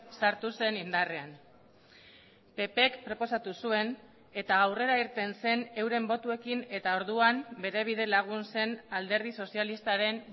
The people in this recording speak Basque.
sartu zen indarrean ppk proposatu zuen eta aurrera irten zen euren botoekin eta orduan bere bidelagun zen alderdi sozialistaren